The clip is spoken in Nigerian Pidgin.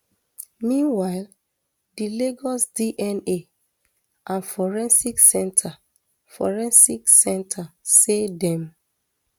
meanwhile di lagos dna and forensic center forensic center say dem